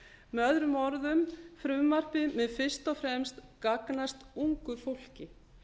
með öðrum orðum frumvarpið mun fyrst og fremst gagnast ungu fólki